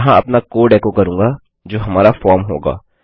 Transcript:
मैं यहाँ अपना कोड एको करूँगा जो हमारा फॉर्म होगा